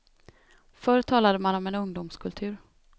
Förr talade man om en ungdomskultur.